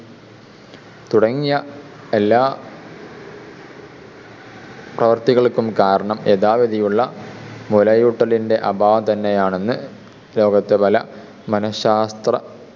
തുടങ്ങിയ എല്ലാ പ്രവൃത്തികൾക്കും കാരണം യഥാവിധിയുള്ള മുലയൂട്ടലിൻ്റെ അഭാവം തന്നെയാണെന്ന് ലോകത്ത്‌ പല മനഃശാസ്ത്ര